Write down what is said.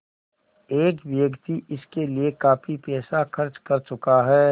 एक व्यक्ति इसके लिए काफ़ी पैसा खर्च कर चुका है